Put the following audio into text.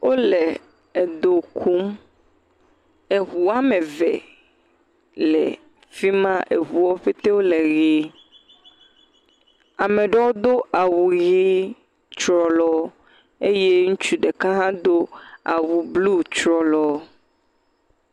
Wole edo kum. Eŋu woame eve le fi ma. Eŋuwo ƒete wole ʋee. Ame ɖewo do awu ʋi tsrɔlɔɔ eye ŋutsu ɖeka hã do awu bluu tsrɔlɔɔ.